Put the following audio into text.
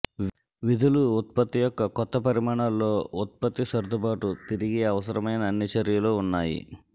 విధులు ఉత్పత్తి యొక్క కొత్త పరిమాణాల్లో ఉత్పత్తి సర్దుబాటు తిరిగి అవసరమైన అన్ని చర్యలు ఉన్నాయి